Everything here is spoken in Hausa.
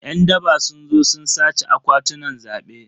Yan daba sun zo sun sace akwatunan zabe.